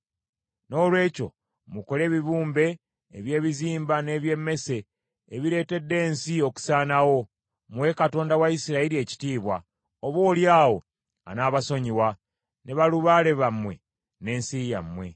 Noolwekyo mukole ebibumbe eby’ebizimba n’eby’emmese ebireetedde ensi okusaanawo, muwe Katonda wa Isirayiri ekitiibwa; oboolyawo anaabasonyiwa, ne balubaale bammwe n’ensi yammwe.